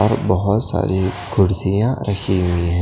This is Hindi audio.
और बोहोत सारी कुर्सियाँ रखी हुई हैं।